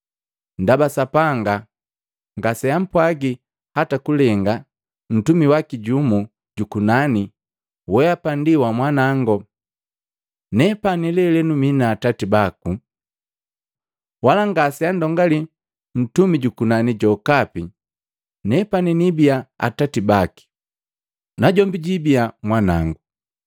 Ndaba Sapanga ngaseampwagi hata kulenga, ntumi waki jumu jukunani: “Weapa ndi wa Mwanango; nepani lelenu mii Atati baku.” Wala ngaseandongali mtumi jukunani jokapi, “Nepani niibiya Atati baki, najombi jwiibiya Mwanango.”